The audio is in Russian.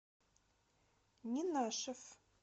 ненашев